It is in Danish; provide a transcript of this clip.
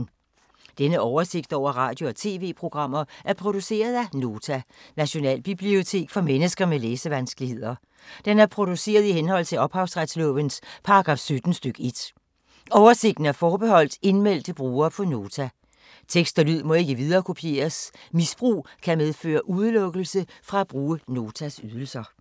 Denne oversigt over radio og TV-programmer er produceret af Nota, Nationalbibliotek for mennesker med læsevanskeligheder. Den er produceret i henhold til ophavsretslovens paragraf 17 stk. 1. Oversigten er forbeholdt indmeldte brugere på Nota. Tekst og lyd må ikke viderekopieres. Misbrug kan medføre udelukkelse fra at bruge Notas ydelser.